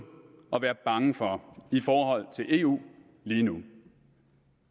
at være bange for i forhold til eu lige nu